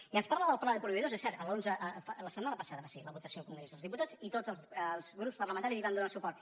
i ens parla del pla de proveïdors i és cert l’onze la set·mana passada va ser la votació al congrés dels dipu·tats i tots els grups parlamentaris hi van donar suport